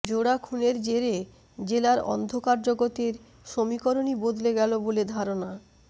জোড়াখুনের জেরে জেলার ন্ধকার জগতের সমীকরণই বদলে গেল বলে ধারণা